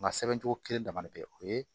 Nka sɛbɛn cogo kelen dama bɛ o ye